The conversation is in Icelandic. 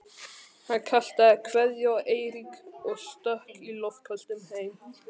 Hann kastaði kveðju á Eirík og stökk í loftköstum heim.